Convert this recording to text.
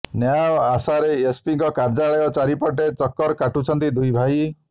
ନ୍ୟାୟ ଆଶାରେ ଏସ୍ପିଙ୍କ କାର୍ଯ୍ୟାଳୟ ଚାରିପଟେ ଚକର କାଟୁଛନ୍ତି ଦୁଇ ଭାଇ